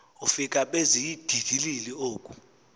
ufika beziinyhidilili oku